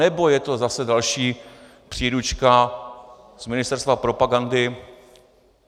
Anebo je to zase další příručka z ministerstva propagandy?